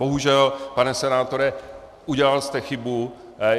Bohužel, pane senátore, udělal jste chybu.